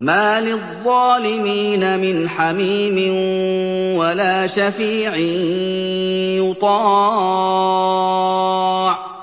مَا لِلظَّالِمِينَ مِنْ حَمِيمٍ وَلَا شَفِيعٍ يُطَاعُ